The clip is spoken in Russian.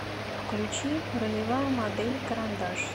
включи ролевая модель карандаш